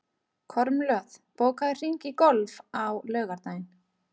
Kormlöð, bókaðu hring í golf á laugardaginn.